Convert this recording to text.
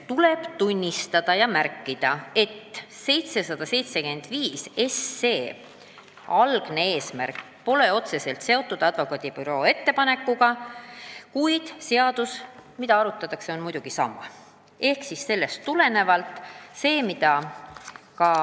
Tuleb märkida, et 775 SE sisu pole otseselt seotud advokaadibüroo ettepaneku sisuga, kuid seadus, mida arutatakse, on muidugi sama.